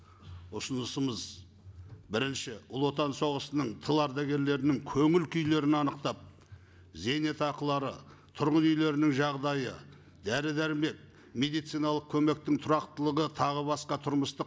ұсынысымыз бірінші ұлы отан соғысының тыл ардагерлерінің көңіл күйлерін анықтап зейнетақылары тұрғын үйлерінің жағдайы дәрі дәрмек медициналық көмектің тұрақтылығы тағы басқа тұрмыстық